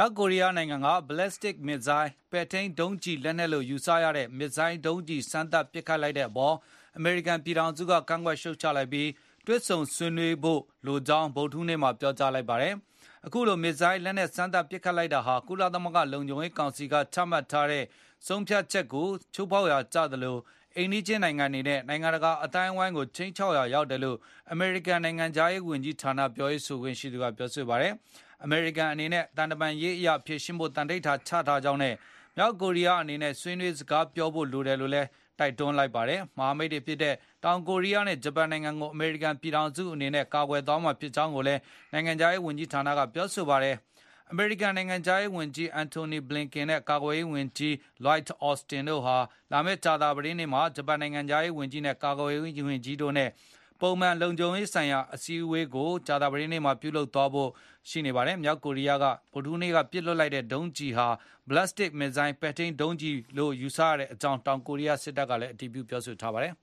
ောက်ကိုရီးယားက Ballistic Missile ပဲ့ထိန်း ဒုံးကျည်လက်နက်လို့ ယူဆရတဲ့ ဒုံးကျည် စမ်းသပ်ပစ်လွှတ်မှုအပေါ် အမေရိကန်ပြည်ထောင်စုက ရှုတ်ချလိုက်ပြီး ၊ တွေ့ဆုံဆွေးနွေးဖို့ တိုက်တွန်းကြောင်း ဗုဒ္ဓဟူးနေ့မှာ ပြောကြားလိုက်ပါတယ်။ အခုလို မစ်ဇိုင်းလက်နက် စမ်းသပ်ပစ်ခတ်လိုက်တာဟာ ကုလသမဂ္ဂလုံခြုံရေးကောင်စီက ချမှတ်ထားတဲ့ ဆုံးဖြတ်ချက်ကိုချိုးဖေါက်ရာ ကျသလို၊ အိမ်နီးချင်းနိုင်ငံတွေရဲ့ နိုင်ငံတကာ အသိုင်းအဝိုင်းကို ခြိမ်းခြောက်ရာ ရောက်တယ်လို့ အမေရိကန်နိုင်ငံခြားရေးဝန်ကြီးဌာန ပြောရေးဆိုခွင့်ရှိသူကပြောဆိုတာပါ။ အမေရိကန်အနေနဲ့ သံတမန်ရေးအရ ဖြေရှင်းဖို့ သန္နိဌာန်ချထားကြောင်းနဲ့ မြောက်ကိုရီးယား အနေနဲ့ ဆွေးနွေးစကားပြောဖို့ လိုတယ်လို့ တိုက်တွန်းလိုက်ပါတယ်။ မဟာမိတ်နိုင်ငံတွေဖြစ်တဲ့ တောင်ကိုရီးယားနဲ့ဂျပန် နိုင်ငံတွေကို အနေနဲ့ ကာကွယ်သွားမှာဖြစ်ကြောင်းကိုလည်း နိုင်ငံခြားရေးဝန်ကြီးဌာန ပြောခွင့်ရသူကပြောဆိုပါတယ်။ အမေရိကန်နိုင်ငံခြားရေးဝန်ကြီး Antony Blinken နဲ့ ကာကွယ်ရေးဝန်ကြီး Lloyd Austin တို့ဟာ လာမယ့် ကြာသာပတေးနေ့မှာ ဂျပန်နိုင်ငံခြားရေးဝန်ကြီး ၊ ကာကွယ်ရေးဝန်ကြီးတို့နဲ့ ပုံမှန်လုံခြုံရေးဆိုင်ရာ အစည်းအဝေးကို အွန်လိုင်းကနေ ပြုလုပ်ဖို့ရှိပါတယ်။ မြောက်ကိုရီးယားက ဗုဒ္ဓဟူးနေ့မှာ ပစ်လွှတ်လိုက်တဲ့ မစ်ဇိုင်းဒုံးကျည်ဟာ ပဲ့ထိန်းဒုံးကျည် ဖြစ်မယ်လို့ယူဆရကြောင်း တောင်ကိုရီးယား စစ်တပ်တာဝန်ရှိသူတွေက ပြောဆိုပါတယ်